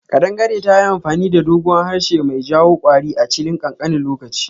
Kadangare tayi amfani da doguwan harshe mai jawo kwari a chilin kankanin lokaci.